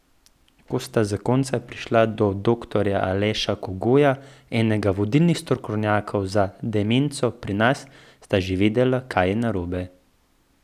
Ko sta zakonca prišla do doktorja Aleša Kogoja, enega vodilnih strokovnjakov za demenco pri nas, sta že vedela, kaj je narobe.